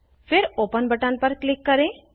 फिर open button पर click करें